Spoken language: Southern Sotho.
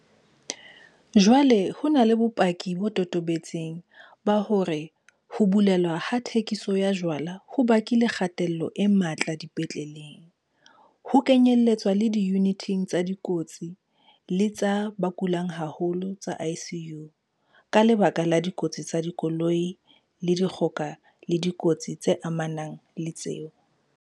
Jwale ho na le bopaki bo totobetseng ba hore ho bulelwa ha thekiso ya jwala ho bakile kgatello e matla dipetleleng, ho kenyeletswa le diyuniting tsa dikotsi le tsa ba kulang haholo tsa ICU, ka lebaka la dikotsi tsa makoloi, dikgoka le dikotsi tse amanang le tseo.